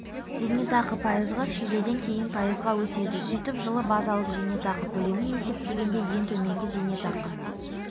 зейнетақы пайызға шілдеден кейін пайызға өседі сөйтіп жылы базалық зейнетақы көлемін есептегенде ең төменгі зейнетақы